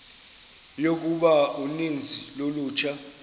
yokuba uninzi lolutsha